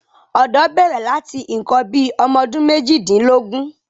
ọ̀dọ́ bẹ̀rẹ̀ láti nǹkan bí i ọmọdún méjìdínlógún.